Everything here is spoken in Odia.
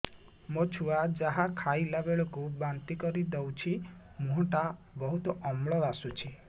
ମୋ ଛୁଆ ଯାହା ଖାଇଲା ବେଳକୁ ବାନ୍ତି କରିଦଉଛି ମୁହଁ ଟା ବହୁତ ଅମ୍ଳ ବାସୁଛି